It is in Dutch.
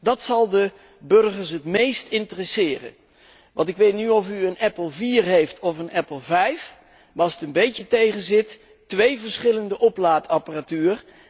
Dat zal de burgers het meest interesseren. Want ik weet niet of u een Apple4 heeft of een Apple5, maar als het een beetje tegenzit, twee verschillende oplaadapparatuur.